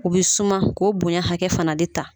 U bɛ suma k'o bonya hakɛ fana de ta.